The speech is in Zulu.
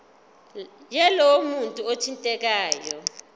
yalowo muntu othintekayo